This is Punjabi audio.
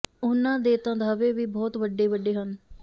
ਉਨ੍ਹਾਂ ਦੇ ਤਾਂ ਦਾਅਵੇ ਵੀ ਬਹੁਤ ਵੱਡੇ ਵੱਡੇ ਹਨ